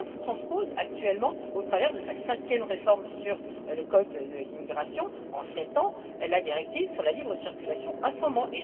La France transpose actuellement, au travers de sa cinquième réforme sur le code de l'immigration en sept ans, la directive sur la libre circulation en ce moment.